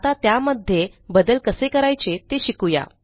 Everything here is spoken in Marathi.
आता त्यामध्ये बदल कसे करायचे ते शिकू या